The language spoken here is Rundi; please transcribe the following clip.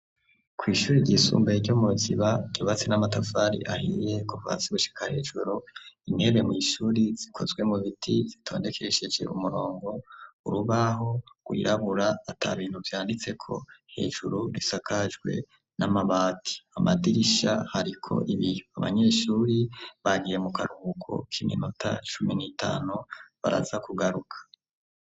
Kwishure ryisumbuye ryo mu ruziba ryubatse namatafari ahiye kuva hasi gushika hejuru, intebe mwishure zikozwe mu biti zitondekesheje umurongo, urubaho gw’irabura atabintu vyanditseko ,hejuru risakajwe namabati ,amadirisha hariko ibiyo, abanyeshure bagiye mukaruhuko k’iminota cumi n’itanu baraza kugaruka.